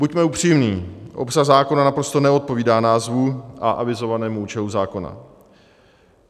Buďme upřímní, obsah zákona naprosto neodpovídá názvu a avizovanému účelu zákona.